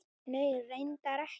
Nei, reyndar ekki.